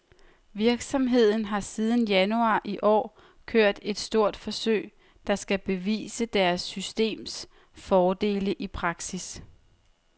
Virksomheden har siden januar i år kørt et stort forsøg, der skal bevise deres systems fordele i praksis.